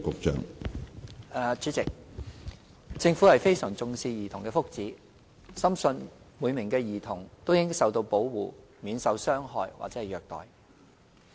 主席，政府非常重視兒童的福祉，深信每名兒童都應受到保護，免受傷害或虐待。